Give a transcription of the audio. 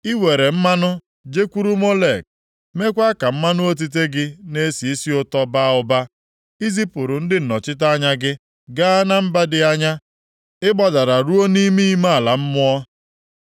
Ị were mmanụ jekwuru Molek + 57:9 Maọbụ, eze meekwa ka mmanụ otite gị na-esi isi ụtọ baa ụba. Ị zipụrụ ndị nnọchite anya gị + 57:9 Ya bụ, arụsị apịrị apị gaa na mba dị anya; ị gbadara ruo nʼime ime ala mmụọ.